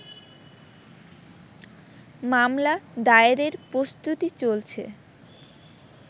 মামলা দায়েরের প্রস্তুতি চলছে